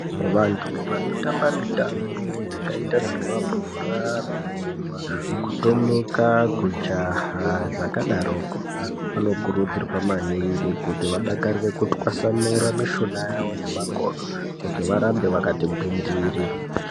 Vantu vanotamba mitambo yakaita semabhora, kurumba, kutomuka, kujaha zvakadaroko vanokurudzirwa maningi kuti vadakarire kutswasanura mushuna yavo nemakodo kuti varambe vakati gwindiri.